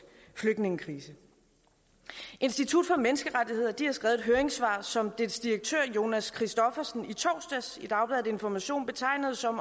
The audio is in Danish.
flygtningekrise institut for menneskerettigheder har skrevet et høringssvar som deres direktør jonas christoffersen i torsdags i dagbladet information betegnede som